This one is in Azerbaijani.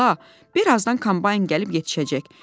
Bala, birazdan kombayn gəlib yetişəcək.